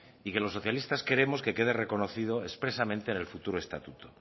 y que los socialistas queremos que quede reconocido expresamente en el futuro estatuto